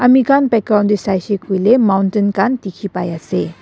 ami khan background tae saisey koiley mountain khan dekhi pai ase.